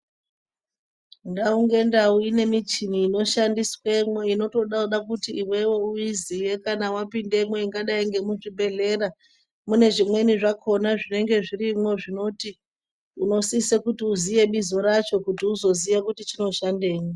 Ndau ngendau ine michini inoshandiswamo inoda kuti iwewe uizive kana waoindemi ingava yemuzvibhedhlera mune zvimweni zvakona zvinenge zvirimo zvinoti zvinosisa uizive bizo racho kuti uzozive kuti chinoshandei.